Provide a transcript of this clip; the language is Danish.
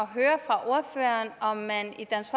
høre af ordføreren om man i dansk